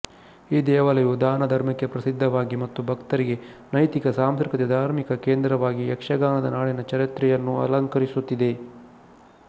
ಈ ದೇವಾಲಯವು ದಾನ ಧರ್ಮಕ್ಕೆ ಪ್ರಸಿದ್ಧವಾಗಿ ಮತ್ತು ಭಕ್ತರಿಗೆ ನೈತಿಕ ಸಾಂಸ್ಕೃತಿಕ ಧಾರ್ಮಿಕ ಕೇಂದ್ರವಾಗಿ ಯಕ್ಷಗಾನದ ನಾಡಿನ ಚರಿತ್ರೆಯನ್ನೂ ಅಲಂಕರಿಸುತ್ತಿದೆ